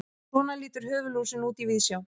svona lítur höfuðlúsin út í víðsjá